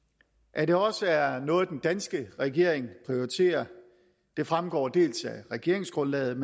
at det også er noget den danske regering prioriterer fremgår dels af regeringsgrundlaget